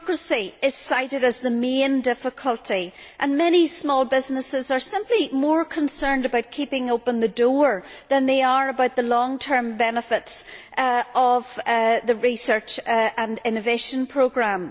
Bureaucracy is cited as the main difficulty and many small businesses are simply more concerned about keeping open the door than they are about the long term benefits of the research and innovation programme.